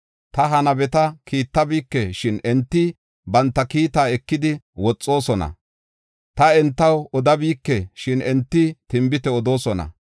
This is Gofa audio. Ta ha nabeta kiittabike; shin enti banta kiita ekidi woxoosona. Ta entaw odabike; shin enti tinbite odoosona.